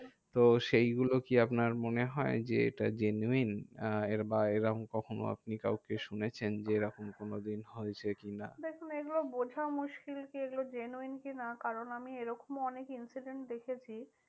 তো সেই গুলো কি আপনার মনে হয় যে এটা genuine আহ বা এরম কখনো আপনি কখনো কাউকে শুনেছেন যে, এরম কোনোদিন হয়েছে কি না? দেখুন এইগুলো বোঝা মুশকিল যে, এগুলো genuine কি না? কারণ এরকমও অনেক incident দেখেছি